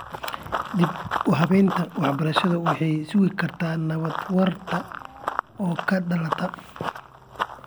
Dib-u-habaynta waxbarashadu waxay sugi kartaa nabad waarta oo ka dhalata .